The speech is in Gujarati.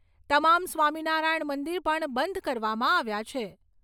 તમામ સ્વામીનારાયણ મંદિર પણ બંધ કરવામાં આવ્યાં છે.